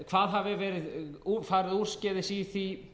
hvað hafi farið úrskeiðis í því